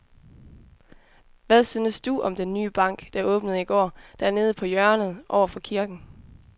Hvad synes du om den nye bank, der åbnede i går dernede på hjørnet over for kirken?